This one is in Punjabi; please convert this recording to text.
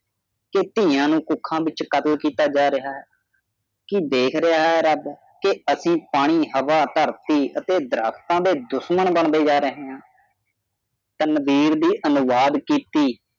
ਕੇ ਧੀਆਂ ਨੂੰ ਕੁੱਖਾਂ ਦੇ ਵਿੱਚ ਖ਼ਤਮ ਕੀਤਾ ਜਾ ਰਿਹਾ ਹੈ ਕੀ ਦੇਖ ਰਿਹਾ ਹੈ ਰੱਬ ਕੇ ਅਸੀਂ ਪਾਣੀ ਹਵਾ ਧਰਤੀ ਅਤੇ ਦਰਖਤਾਂ ਦੇ ਦੁਸ਼ਮਣ ਬਣਦੇ ਜਾ ਰਹੇ ਹਾਂ ਤਨਵੀਰ ਦੀ ਅਨੁਵਾਦ ਕੀਤੀ